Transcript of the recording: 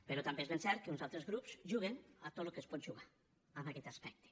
però també és ben cert que uns altres grups juguen a tot el que es pot jugar en aquest aspecte